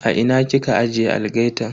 A ina kika ajiye algaitan?